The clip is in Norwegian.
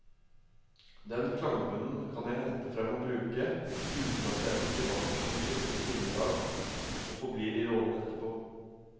Den klangbunnen kan jeg hente frem og bruke, uten at jeg som privatperson skifter sinnelag og forblir i rollen etterpå.